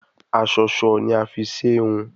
Aṣọṣọ ni a fi ṣe hun